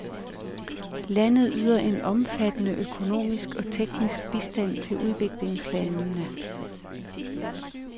Landet yder en omfattende økonomisk og teknisk bistand til udviklingslandene.